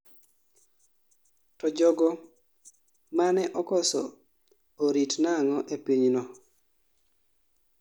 to jogo mane okoso orit nang'o ee pinyno?